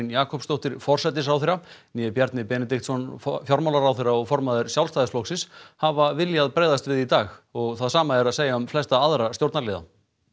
Jakobsdóttir forsætisráðherra né Bjarni Benediktsson fjármálaráðherra og formaður Sjálfstæðisflokksins hafa viljað bregðast við í dag og það sama er að segja um flesta aðra stjórnarliða